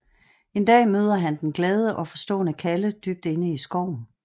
En dag møder han den glade og forstående Kalle dybt inde i skoven